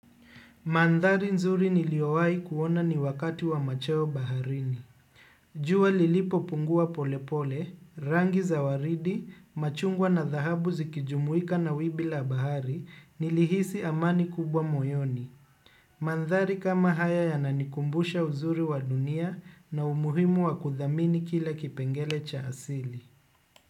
Mandhari nzuri niliyowai kuona ni wakati wa machweo baharini. Jua lilipo pungua polepole, rangi za waridi, machungwa na dhahabu zikijumuika na wibi la bahari, nilihisi amani kubwa moyoni. Mandhari kama haya ya nanikumbusha uzuri wa dunia na umuhimu wa kudhamini kila kipengele cha asili.